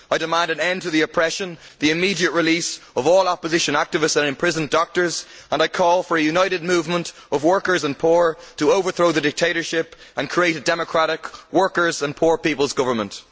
I demand an end to the oppression, and the immediate release of all opposition activists and imprisoned doctors, and I call for a united movement of workers and the poor to overthrow the dictatorship and create a democratic workers' and poor people's government.